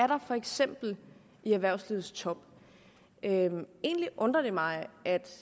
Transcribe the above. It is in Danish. der for eksempel i erhvervslivets top egentlig undrer det mig